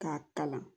K'a kalan